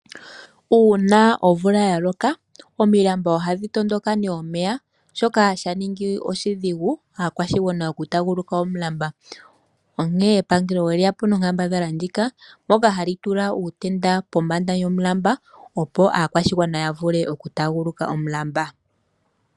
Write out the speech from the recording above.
Uuna omvula ya loka, omilamba ohadhi tondoka omeya shoka sha ningi oshidhigu kaakwashigwana oku taaguluka omulamba. Onkene epangelo olya ningi onkambadhala ndjika, mpoka hali tula uutenda pombanda yomulamba opo aakwashigwana ya vule oku taaguluka omulamba.